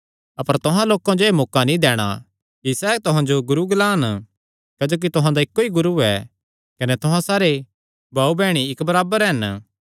अपर तुहां लोकां जो एह़ मौका नीं दैणा कि सैह़ तुहां जो गुरू ग्लांन क्जोकि तुहां दा इक्को ई गुरू ऐ कने तुहां सारे भाऊबैह्णी इक्क बराबर हन